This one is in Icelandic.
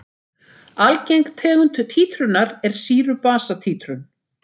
Algeng tegund títrunar er sýru-basa títrun.